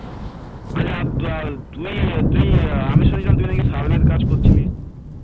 আচ্ছা তুই তুই তুই আমি শুনেছিলাম তুই নাকি survey র কাজ করছিস?